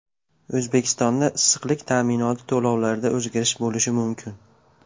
O‘zbekistonda issiqlik ta’minoti to‘lovlarida o‘zgarish bo‘lishi mumkin .